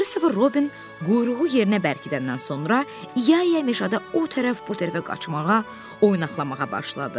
Kristofer Robin quyruğu yerinə bərkidəndən sonra İya-İya meşədə o tərəf bu tərəfə qaçmağa, oynaqalamağa başladı.